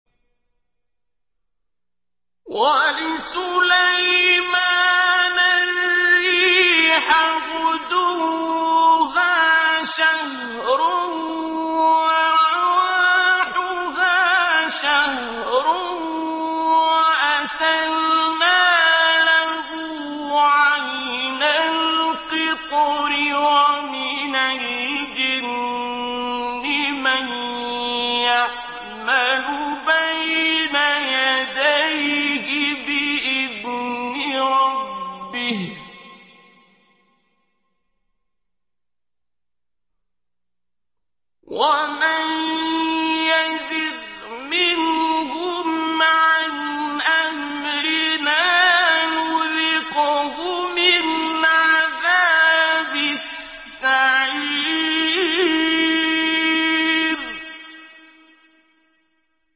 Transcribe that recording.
وَلِسُلَيْمَانَ الرِّيحَ غُدُوُّهَا شَهْرٌ وَرَوَاحُهَا شَهْرٌ ۖ وَأَسَلْنَا لَهُ عَيْنَ الْقِطْرِ ۖ وَمِنَ الْجِنِّ مَن يَعْمَلُ بَيْنَ يَدَيْهِ بِإِذْنِ رَبِّهِ ۖ وَمَن يَزِغْ مِنْهُمْ عَنْ أَمْرِنَا نُذِقْهُ مِنْ عَذَابِ السَّعِيرِ